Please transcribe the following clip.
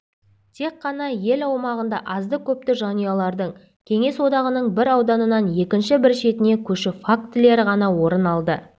тек қана ел аумағында азды-көпті жанұялардың кеңес одағының бір ауданынан екінші бір шетіне көшу фактілері ғана орын алды